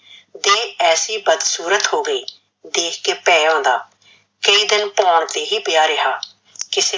ਦੇਹ ਐਸੀ ਬਦਸੂਰਤ ਹੋ ਗਈ, ਦੇਖ ਕੇ ਭੇਹ ਆਉਂਦਾ, ਕਈ ਦਿਨ ਭੋਣ ਤੇ ਹੀ ਪਿਆ ਰਿਹਾ, ਕਿਸੇ।